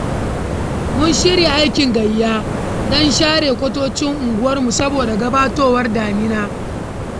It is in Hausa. Mun shirya aikin gayya don share kwatocin unguwarmu saboda gabatowar damina.